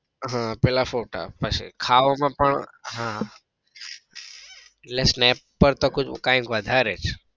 હમ પેલા ફોટા પછી ખાવા માં પણ હા એટલે snap પાર તો કંઈક વધારે જ